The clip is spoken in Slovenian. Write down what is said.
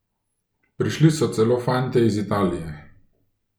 Prišli so celo fantje iz Italije.